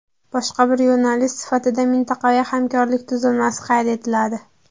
Boshqa bir yo‘nalish sifatida mintaqaviy hamkorlik tuzilmasi qayd etiladi.